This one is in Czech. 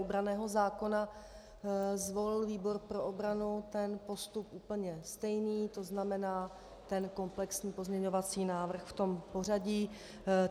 U branného zákona zvolil výbor pro obranu ten postup úplně stejný, to znamená ten komplexní pozměňovací návrh v tom pořadí.